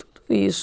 Tudo isso.